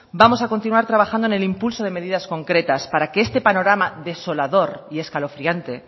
vamos a continuar trabajando en el impulso de medidas concretas para que en este panorama desolador y escalofriante